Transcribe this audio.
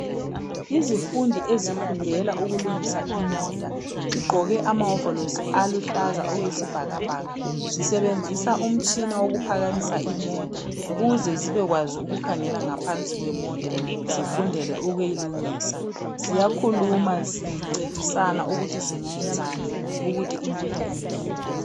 Izifundi ezifundela ukulungisa imota zigqoke amawovolosi aluhlaza okuyisibhakabhaka Zisebenzisa umtshina wokuphakamisa imota ukuze zibekwazi ukukhangela ngaphansi kwemota zifundele ukuyilungisa. Ziyakhuluma zincedisana ukuthi zingayenzani ukuthi imota ilunge